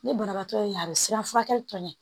Ni banabaatɔ ye a be siran furakɛli tɔ ɲɛ